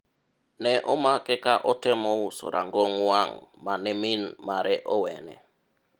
ne omake ka otemo uso rangong' wang' mane min mare owene